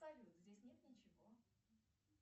салют здесь нет ничего